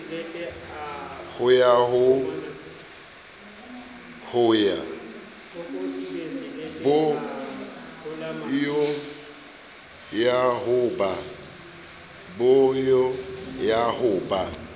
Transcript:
bo yo ha ho ba